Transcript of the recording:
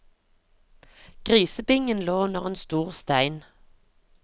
Grisebingen lå under en stor stein.